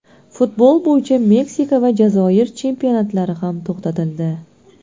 Futbol bo‘yicha Meksika va Jazoir chempionatlari ham to‘xtatildi.